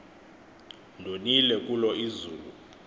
ndonile kulo izulu